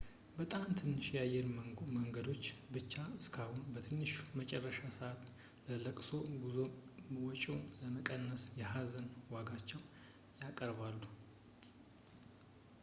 በጣም ትንሽ የአየር መንገዶች ብቻ እስካሁን በትንሹ የመጨረሻ ሰዓት የለቅሶ ጉዞ ወጪን ለመቀነስ የሀዘን ዋጋዎችን ያቀርባሉ